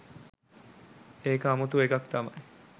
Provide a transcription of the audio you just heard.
ඒක අමුතු එකක් තමයි